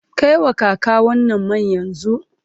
Kai wa kaka wannan man yanzu!